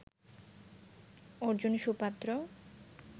Arjun সুপাত্র